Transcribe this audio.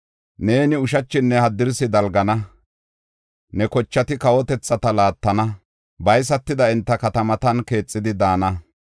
Neeni ushachinne haddirsi dalgana; ne kochati kawotethata laattana; baysatida enta katamatan keexidi daana.